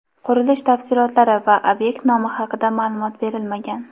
Qurilish tafsilotlari va ob’ekt nomi haqida ma’lumot berilmagan.